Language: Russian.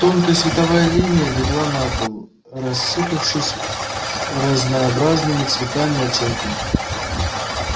тонкая световая линия легла на пол рассыпавшись разнообразными цветами оттенками